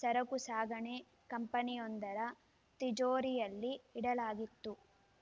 ಸರಕು ಸಾಗಣೆ ಕಂಪನಿಯೊಂದರ ತಿಜೋರಿಯಲ್ಲಿ ಇಡಲಾಗಿತ್ತು